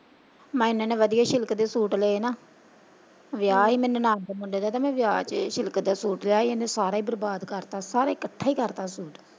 ਮੈਂ ਏਨੇ ਏਨੇ ਵਧੀਆ ਸਿਲਕ ਦੇ ਸੂਟ ਲਏ ਨਾ ਵਿਆਹ ਸੀ ਮੇਰੀ ਨਨਾਣ ਦੇ ਮੁੰਡੇ ਦਾ ਤੇ ਮੈਂ ਵਿਆਹ ਚ ਸਿਲਕ ਦੇ ਸੂਟ ਲਿਆ ਸੀ ਇਹਨੇ ਸਾਰਾ ਹੀ ਬਰਬਾਦ ਕਰਤਾ ਸਾਰਾ ਕੱਠਾ ਹੀ ਕਰਤਾ ਸੂਟ।